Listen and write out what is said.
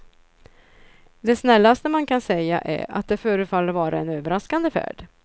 Det snällaste man kan säga är att det förefaller vara en överraskande färd.